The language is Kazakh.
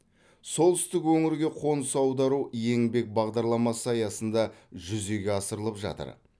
солтүстік өңірге қоныс аудару еңбек бағдарламасы аясында жүзеге асырылып жатыр